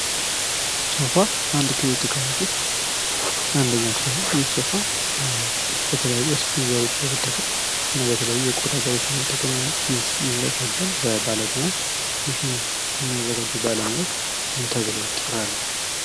ሶፋ አንድ ከቤት ዕቃዎች ውስጥ አንደኛው ሲሆን ይህ ሶፋ በተለያዩ የስፖንጅ ዘሮች እና በተለያዩ የቆዳ ዘሮች በመጠቀም ይዘጋጃል በባለሙያ ። ይህን የሚያዘጋጁ ባለሙያዎች ምን ተብለው ይጠራሉ ?